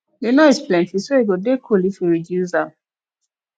the noise plenty so e go dey cool if we reduce am